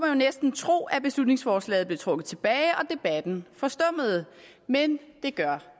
jo næsten tro at beslutningsforslaget blev trukket tilbage og debatten forstummede men det gør